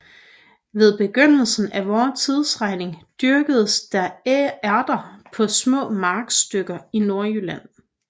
Ved begyndelsen af vor tidsregning dyrkedes der ærter på små markstykker i Nordjylland